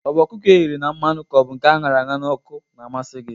Ọ bụ ọkụkọ eghere na mmanụ ka ọ bụ nke aṅarara n'ọkụ na-amasi gi?